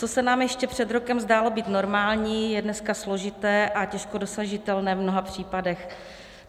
Co se nám ještě před rokem zdálo být normální, je dneska složité a těžko dosažitelné v mnoha případech.